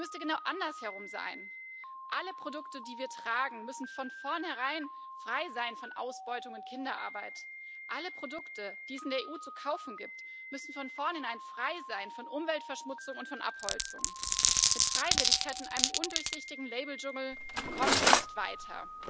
Es müsste genau andersherum sein Alle Produkte, die wir tragen, müssen von vornherein frei sein von Ausbeutung und Kinderarbeit. Alle Produkte, die es in der EU zu kaufen gibt, müssen von vornherein frei sein von Umweltverschmutzung und von Abholzung. Mit Freiwilligkeit in einem undurchsichtigen Labeldschungel kommen wir nicht weiter.